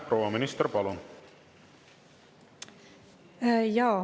Proua minister, palun!